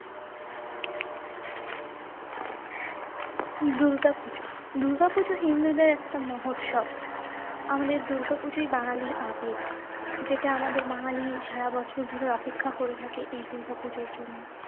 দুর্গাপুজো - দুর্গাপুজো হিন্দুদের একটা মহোৎসব। আমাদের দুর্গাপূজোই বাঙালির আবেগ। যেটা আমাদের বাঙালি সারাবছর ধরে অপেক্ষা করে থাকে এই দুর্গাপুজোর জন্য।